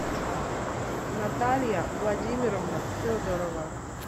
наталья владимировна федорова